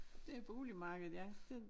Det er boligmarkedet ja det